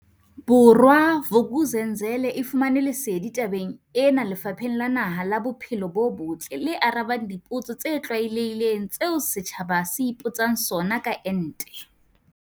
Bo rwa, Vuk'uzenzele e fumane lesedi tabeng ena Lefapheng la Naha la Bo phelo bo Botle le arabang dipotso tse tlwaelehileng tseo setjhaba se ipotsang sona ka ente.